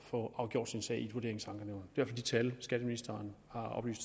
få afgjort sin sag i vurderingsankenævnet det er fald de tal skatteministeren